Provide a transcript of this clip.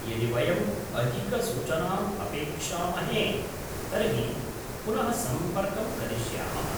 यदि वयम् अधिकसूचनाम् अपेक्षामहे तर्हि पुनः सम्पर्कं करिष्यामः।